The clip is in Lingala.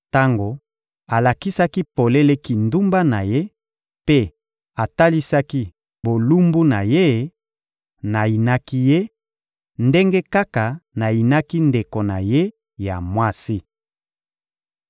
Tango alakisaki polele kindumba na ye mpe atalisaki bolumbu na ye, nayinaki ye, ndenge kaka nayinaki ndeko na ye ya mwasi.